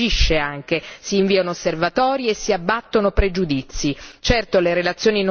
Qui si discute, ma si agisce anche, si inviato osservatori e si abbattono pregiudizi.